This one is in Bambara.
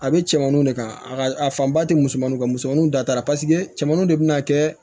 A bɛ cɛmanuw de kan a ka a fanba ti misɛnmaninw ka misɛnmaninw datugura paseke cɛmannuw de be na kɛ